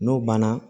N'o banna